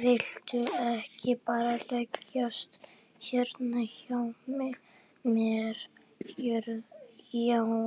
Viltu ekki bara leggjast hérna hjá mér Jóra